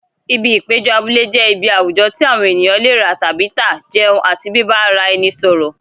Ibi ìpéjọ abúlé jẹ́ ibi àwùjọ tí àwọn ènìyàn lè rà tàbí tà, jẹun àti bíbá ara ẹni sọ̀rọ̀.